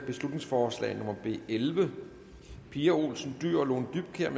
beslutningsforslag nummer b elleve pia olsen dyhr og lone dybkjær